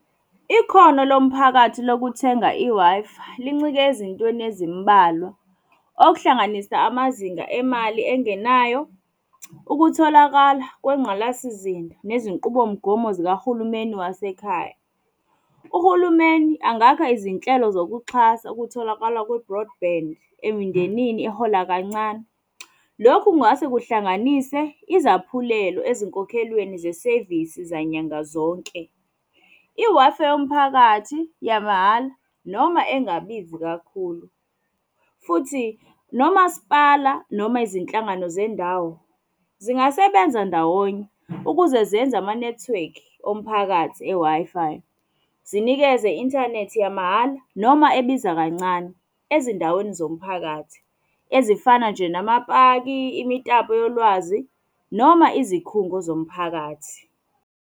Ikhono lo mphakathi lokuthenga i-Wi-Fi, lincike ezintweni ezimbalwa, okuhlanganisa amazinga emali engenayo, ukutholakala kwengqalasizinda nezinqubomgomo zikahulumeni wasekhaya. Uhulumeni angakha izinhlelo zokuxhasa ukutholakala kwe-Broadband emindenini ehola kancane. Lokhu kungase kuhlanganise izaphulelo ezinkokhelweni zesevisi zanyanga zonke. I-Wi-Fi yomphakathi yamahhala, noma engabizi kakhulu. Futhi nomasipala noma izinhlangano zendawo zingasebenza ndawonye ukuze zenze amanethiwekhi omphakathi e-Wi-Fi. Zinikeze i-inthanethi yamahhala noma ebiza kancane, ezindaweni zomphakathi, ezifana nje namapaki, imitapo yolwazi noma izikhungo zomphakathi.